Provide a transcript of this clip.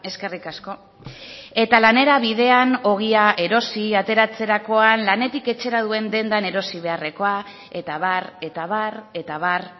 eskerrik asko eta lanera bidean ogia erosi ateratzerakoan lanetik etxera duen dendan erosi beharrekoa eta abar eta abar eta abar